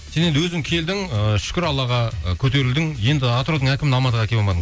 сен енді өзің келдің ііі шүкір аллаға і көтерілдің енді атыраудың әкімін алматыға әкеліп алмадың